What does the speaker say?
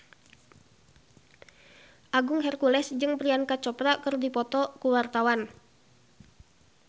Agung Hercules jeung Priyanka Chopra keur dipoto ku wartawan